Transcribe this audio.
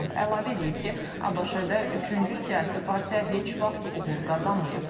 Trump əlavə eləyib ki, ABŞ-də üçüncü siyasi partiya heç vaxt uğur qazanmayıb.